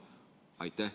Aitäh!